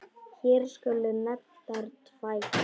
Hér skulu nefndar tvær.